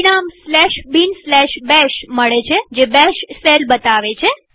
પરિણામ binbash મળે છેજે બેશ શેલ બતાવે છે